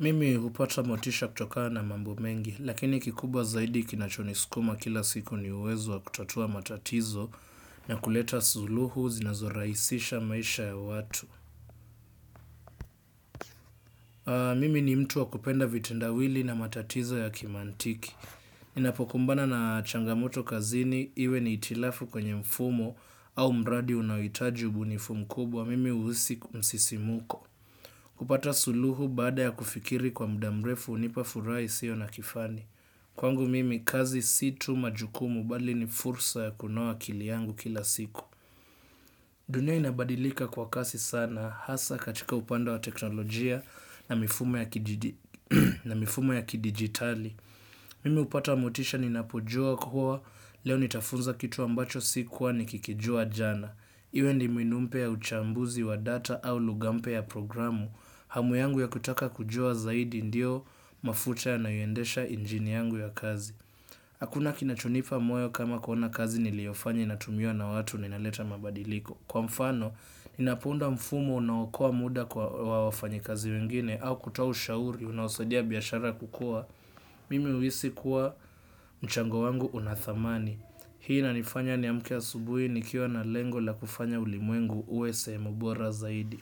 Mimi hupata motisha kutokana mambo mengi, lakini kikubwa zaidi kinachonisukuma kila siku ni uwezo wa kutatua matatizo na kuleta suluhu zinazorahisisha maisha ya watu. Mimi ni mtu wa kupenda vitendawili na matatizo ya kimantiki. Ninapokumbana na changamoto kazini, iwe ni hitilafu kwenye mfumo au mradi unaohitaji ubunifu mkubwa, mimi uhisi msisimko. Kupata suluhu baada ya kufikiri kwa muda mrefu hunipa furaha isiyo na kifani. Kwangu mimi kazi si tu majukumu bali ni fursa ya kunoa akili yangu kila siku. Dunia inabadilika kwa kasi sana hasa katika upande wa teknolojia na mifumo ya kidijitali. Mimi hupata motisha ninapojua kuwa leo nitafunza kitu ambacho sikuwa nikikijua jana. Iwe ni mbinu mpya ya uchambuzi wa data au lugha mpya ya programu. Hamu yangu ya kutaka kujua zaidi ndio mafucha yanaendesha injini yangu ya kazi. Hakuna kinachonipa moyo kama kuona kazi niliyofanya inatumiwa na watu na inaleta mabadiliko. Kwa mfano, ninapounda mfumo unaookoa muda kwa wafanyikazi wengine au kutoa ushauri unaosaidia biashara kukua. Mimi uhisi kuwa mchango wangu una thamani. Hii inanifanya niamke asubuhi nikiowa na lengo la kufanya ulimwengu uwe sehemu bora zaidi.